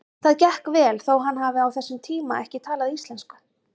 Það gekk vel þó hann hafi á þessum tíma ekki talað íslensku.